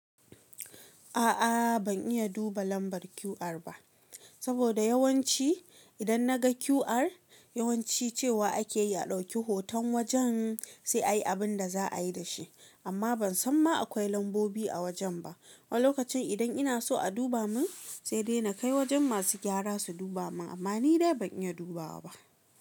A'a ban iya duba lambar QR ba, saboda yawanci idan na ga QR, yawanci cewa ake yi a ɗauki hoton wajen sai ayi abinda za a yi da shi. Amma ban san ma akwai lambobi a wajen ba. Wani lokacin idan ina so a duba min, sai dai na kai wajen masu gyara su duba min. Amma ni dai ban iya dubawa ba.